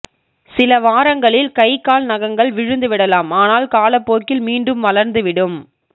சில வாரங்களில் கை கால் நகங்கள் விழுந்துவிடலாம் ஆனால் காலப்போக்கில் மீண்டும் வளர்ந்துவிடும்